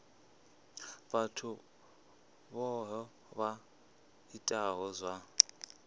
vhathu vhohe vha itaho zwa